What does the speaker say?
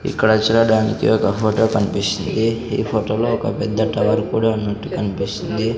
ఇక్కడ చూడడానికి ఒక ఫోటో కనిపిస్తుంది ఈ ఫోటోలో ఒక పెద్ద టవర్ కూడా ఉన్నట్టు కనిపిస్తుంది.